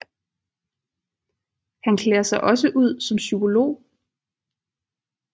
Han klæder sig også ud som psykolog